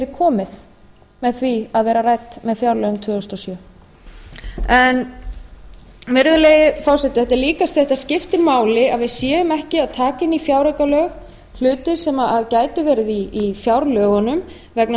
komið með því að vera rædd með fjárlögum tvö þúsund og sjö virðulegi forseti þetta skiptir máli að við séum ekki að taka inn í fjáraukalög hluti sem gætu verið í fjárlögunum vegna þess